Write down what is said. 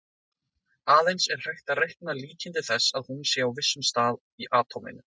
Aðeins er hægt að reikna líkindi þess að hún sé á vissum stað í atóminu.